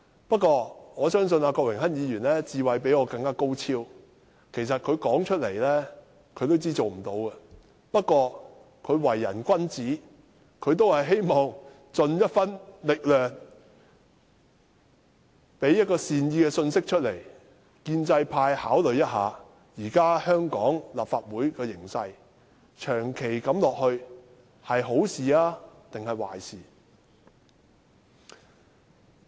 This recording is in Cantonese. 不過，我相信郭榮鏗議員的智慧較我高超，他也自知行不通，只是他為人君子，希望盡一分力量提出善意信息，讓建制派趁機考慮，香港立法會目前的形勢若長此下去，究竟是好事還是壞事。